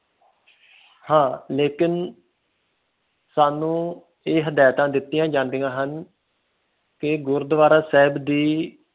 ਹਾਂ ਲੇਕਿਨ ਕ਼ਾਨੂਨ ਇਹ ਹਦਾਇਤਾਂ ਦਿੱਤੀਆਂ ਜਾਂਦੀਆਂ ਹਨ ਇਹ ਗੁਰੂਦਵਾਰਾ ਸਾਹਿਬ ਦੀ